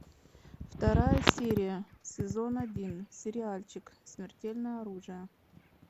вторая серия сезон один сериальчик смертельное оружие